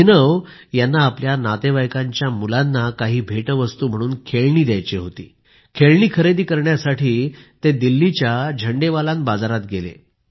अभिनव यांना आपल्या नातेवाईकांच्या मुलांना काही भेटवस्तू म्हणून काही खेळणी द्यायची होती खेळणी खरेदी करण्यासाठी ते दिल्लीच्या झंडेवालान बाजारात गेले